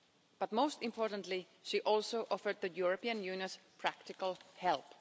But most importantly, she also offered the European Union's practical help.